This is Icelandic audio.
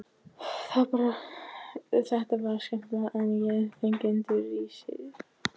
Þetta var skelfilegra en ég fengi undir risið.